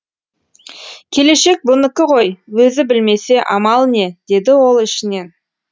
келешек бұныкі ғой өзі білмесе амал не деді ол ішінен